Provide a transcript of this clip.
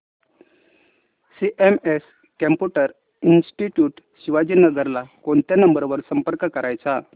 CMS computer institute Shivajinagar ला कोणत्या number वर संपर्क करायचा